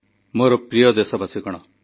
ଦେଶରେ ପାର୍ବଣ ପର୍ଯ୍ୟଟନର ଅପାର ସମ୍ଭାବନା ରହିଛି